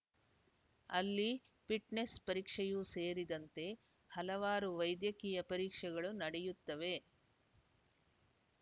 ಅಲ್ಲಿ ಫಿಟ್‌ನೆಸ್‌ ಪರೀಕ್ಷೆಯೂ ಸೇರಿದಂತೆ ಹಲವಾರು ವೈದ್ಯಕೀಯ ಪರೀಕ್ಷೆಗಳು ನಡೆಯುತ್ತವೆ